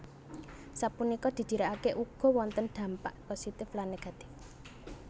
Sapunika didirikake ugo wonten dampak positif lan negativè